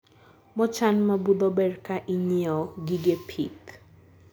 mochan mabudho ber kaa inyiewo gige pith